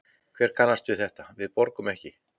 Hver kannast við þetta, við borgum ekki?